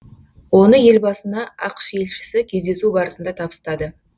оны елбасына ақш елшісі кездесу барысында табыстады